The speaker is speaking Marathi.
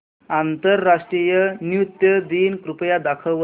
आंतरराष्ट्रीय नृत्य दिन कृपया दाखवच